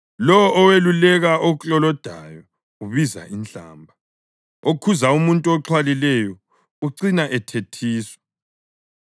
Lowo oweluleka oklolodayo ubiza inhlamba; okhuza umuntu oxhwalileyo ucina ethethiswa.